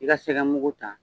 I ka sɛgɛmugu ta.